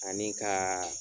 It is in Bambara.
Ani ka